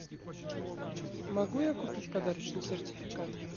могу я купить подарочный сертификат